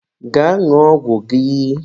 Gaa ṅụọ ọgwụ gị!